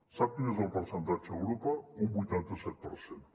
sap quin és el percentatge a europa un vuitanta set per cent